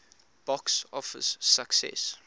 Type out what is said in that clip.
box office success